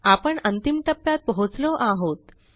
आपण अंतिम टप्प्यात पोहोचलो आहोत